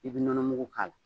I bɛ nɔnɔ mugu k'a la.